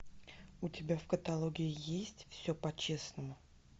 у тебя в каталоге есть все по честному